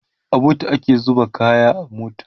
a booth ake zuba kaya a mota